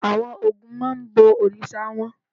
Àwọn Ògún máa ń bọ òrìṣà wọn.